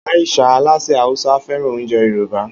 Aisha, alásè Hausa, fẹ́ràn oúnjẹ Yorùbá.